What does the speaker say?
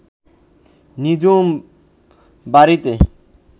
নিঝুম বাড়িতে